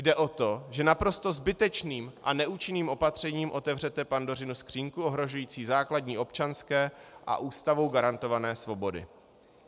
Jde o to, že naprosto zbytečným a neúčinným opatřením otevřete Pandořinu skříňku ohrožující základní občanské a Ústavou garantované svobody.